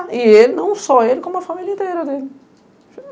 E ele, não só ele, como a família inteira dele.